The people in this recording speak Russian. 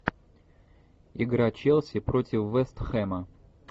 игра челси против вест хэма